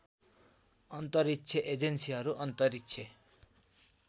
अन्तरिक्ष एजेन्सीहरू अन्तरिक्ष